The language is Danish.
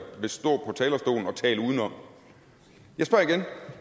stå talerstolen og tale udenom